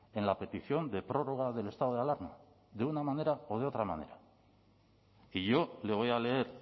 en la petición de prórroga del estado de alarma de una manera o de otra manera y yo le voy a leer